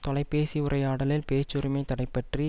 தொலைபேசி உரையாடலில் பேச்சுரிமை தடைபற்றி